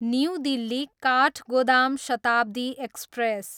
new Delhi, Kathgodam Shatabdi express